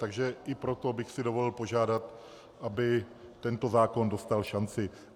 Takže i proto bych si dovolil požádat, aby tento zákon dostal šanci.